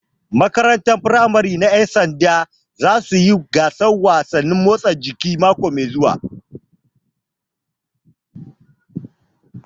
Makarantar firamare na ƴan sanda za suyi gasar wasan motsa jiki mako mai zuwa